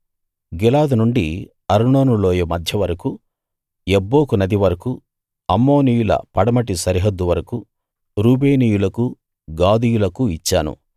గిలాదు నుండి అర్నోను లోయ మధ్య వరకూ యబ్బోకు నది వరకూ అమ్మోనీయుల పడమటి సరిహద్దు వరకూ రూబేనీయులకూ గాదీయులకూ ఇచ్చాను